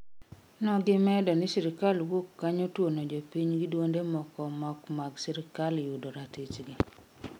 Gimedo ni sirikal wuok kanyo tuono jopiny gi duonde moko mok mag sirikal yudo ratichgi